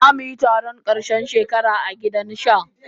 Za mu yi taron karshen shekara a gidan sha.